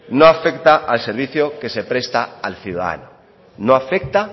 no afecta al servicio que se presta al ciudadano no afecta